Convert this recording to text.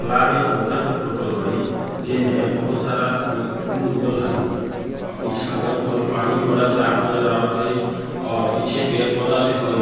तालाब या पोखर के फोटो हई जे मे बहोत सारा फु-फुल उगल हई पीछे अगल-बगल पानी भी बड़ा साफ नजर आवत हई और पीछे पेड़-पौधा भी हई।